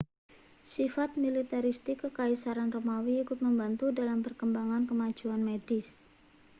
sifat militeristik kekaisaran romawi ikut membantu dalam perkembangan kemajuan medis